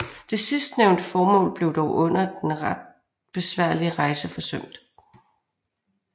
Det sidstnævnte formål blev dog under den ret besværlige rejse forsømt